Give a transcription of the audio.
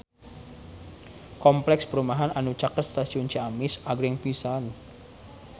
Kompleks perumahan anu caket Stasiun Ciamis agreng pisan